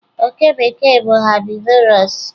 oke bekee bụ herbivorous